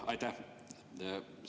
Aitäh!